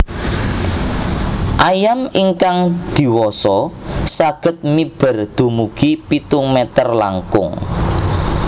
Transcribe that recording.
Ayam ingkang diwasa saged miber dumugi pitung mèter langkung